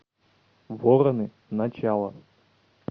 вороны начало